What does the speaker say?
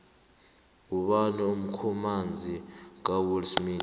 ngubani umkhamanzi kawillsmith